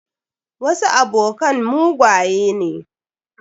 Wasu abokan mugaye ne.